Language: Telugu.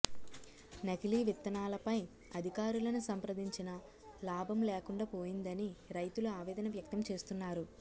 నకిలీ విత్తనాలపై అధికారులను సంప్రదించిన లాభం లేకుండా పోయిందని రైతులు ఆవేదన వ్యక్తం చేస్తున్నారు